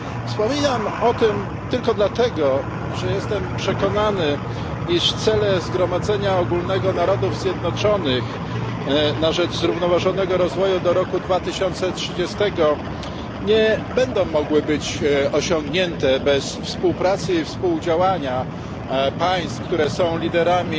Wspominam o tym tylko dlatego, że jestem przekonany, iż cele Zgromadzenia Ogólnego Narodów Zjednoczonych na rzecz zrównoważonego rozwoju do roku 2030 nie będą mogły być osiągnięte bez współpracy i współdziałania państw, które są liderami